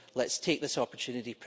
Let's take this opportunity.